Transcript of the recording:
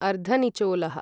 अर्धनिचोलः